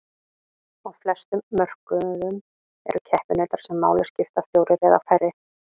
Á flestum mörkuðum eru keppinautar sem máli skipta fjórir eða færri.